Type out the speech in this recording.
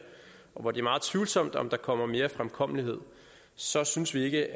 og hvor det er meget tvivlsomt om der kommer mere fremkommelighed så synes vi ikke